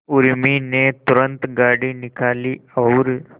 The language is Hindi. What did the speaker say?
उर्मी ने तुरंत गाड़ी निकाली और